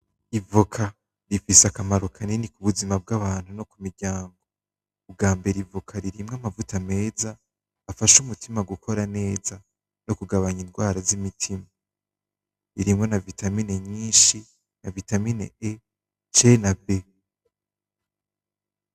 Ivoka rifise akamaro kanini kubuzima bgabantu no kumiryango. Ubagmbere ivoka rifise amavuta meza afasha umutima gukora neza, no kugabanya ingwara z'imitima, irimo na vitamine nyinshi nka vitamine E,C na B